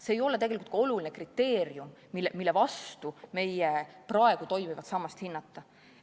See ei ole tegelikult ka oluline kriteerium, millest lähtudes meie praegu toimivat sammast hinnata.